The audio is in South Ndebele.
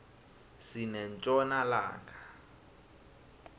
sinetjona langa